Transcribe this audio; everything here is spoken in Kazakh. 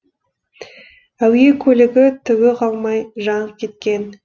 әуе көлігі түгі қалмай жанып кеткен